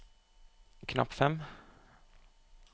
knapp fem